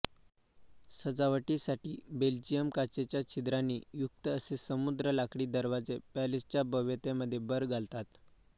सजावटीसाठी बेल्जियन काचेच्या छिद्रांनी युक्त असे समृद्ध लाकडी दरवाजे पॅलेसच्या भव्यतेमध्ये भर धालतात